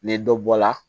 Ni dɔ bɔla